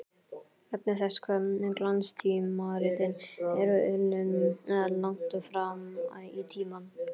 Vegna þess hve glanstímaritin eru unnin langt fram í tímann.